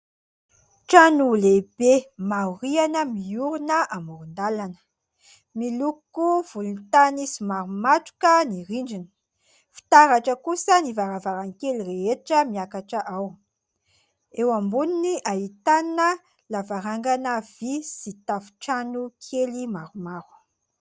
Trano lehibe maro rihana miorona amoron-dalana miloko volontany somary matroka ny rindriny, fitaratra kosa ny varavarankely rehetra miakatra ao, eo amboniny ahitana lavarangana vy sy tafo-trano kely maromaro.